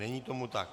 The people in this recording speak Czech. Není tomu tak.